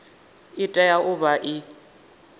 i tea u vha i